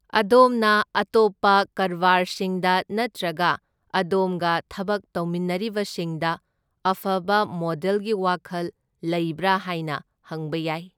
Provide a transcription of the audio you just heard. ꯑꯗꯣꯝꯅ ꯑꯇꯣꯞꯄ ꯀꯔꯕꯥꯔꯁꯤꯡꯗ ꯅꯠꯇ꯭ꯔꯒ ꯑꯗꯣꯝꯒ ꯊꯕꯛ ꯇꯧꯃꯤꯟꯅꯔꯤꯕꯁꯤꯡꯗ ꯑꯐꯕ ꯃꯣꯗꯦꯜꯒꯤ ꯋꯥꯈꯜ ꯂꯩꯕ꯭ꯔꯥ ꯍꯥꯏꯅ ꯍꯪꯕ ꯌꯥꯏ꯫